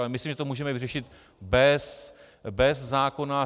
Ale myslím, že to můžeme vyřešit bez zákona.